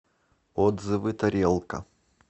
отзывы тарелка